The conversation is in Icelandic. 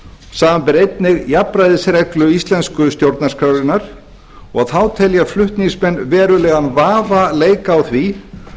samanber einnig jafnræðisreglu íslensku stjórnarskrárinnar og þá telja flutningsmenn verulegan vafa leika á því